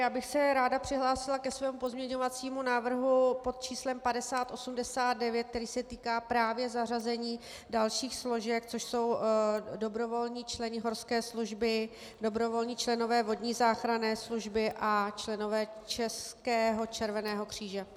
Já bych se ráda přihlásila ke svému pozměňovacímu návrhu pod číslem 5089, který se týká právě zařazení dalších složek, což jsou dobrovolní členové horské služby, dobrovolní členové vodní záchranné služby a členové Českého červeného kříže.